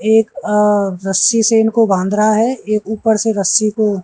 एक अह रस्सी से इनको बांध रहा है एक ऊपर से रस्सी को --